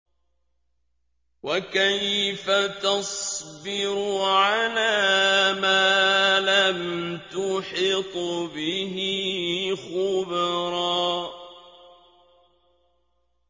وَكَيْفَ تَصْبِرُ عَلَىٰ مَا لَمْ تُحِطْ بِهِ خُبْرًا